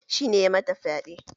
Shi ne ya mata fyaɗen?